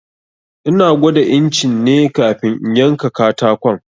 Ina gwada incin ne kafin in yanka katakon.